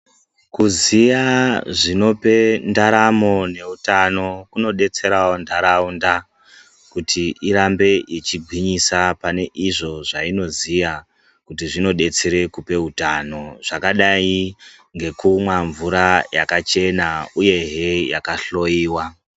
Kuziya zvinope ndaramo neutano zvinodetsera nharaunda kuti irambe yeigwisa zvainoziya kuti zvinodetsera kupa utano zvakadayi ngekumwa mvura yakachena uyehe yakahloyiwa.